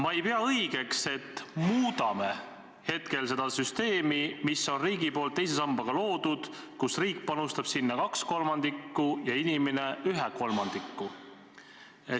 "Ma ei pea õigeks, et muudame hetkel seda süsteemi, mis on riigi poolt teise sambaga loodud, kus riik panustab sinna kaks kolmandikku ja inimene ühe kolmandiku.